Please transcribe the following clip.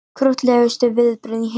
Krúttlegustu viðbrögð í heimi